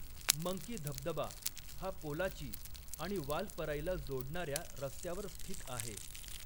Monkey धबधबा हा पोलाची आणि वालपराईला जोडणाऱ्या रस्त्यावर स्थित आहे.